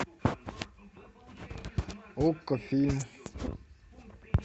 окко фильм